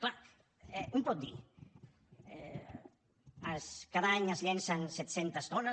clar un pot dir cada any es llencen set centes tones